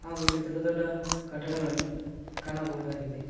ಹಾಗು ಇಲ್ಲಿ ದೊಡ್ಡ ದೊಡ್ಡ ಕಟ್ಟಡಗಳನ್ನು ಕಾಣಬಹುದಾಗಿದೆ.